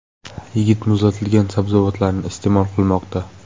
Yigit muzlatilgan sabzavotlarni iste’mol qilmoqda”.